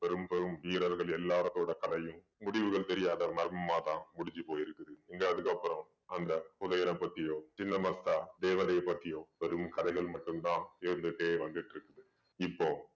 பெரும் பெரும் வீரர்கள் எல்லாரோட முடிவுகள் தெரியாத மர்மமாதான் முடிஞ்சு போயிருக்கு இங்க அதுக்கு அப்புறம் அந்த புதையல பத்தியோ சின்ன மஸ்தா தேவதைய பத்தியோ வெறும் கதைகள் மட்டும்தான் இருந்துட்டே வந்துட்டு இருக்குது இப்போ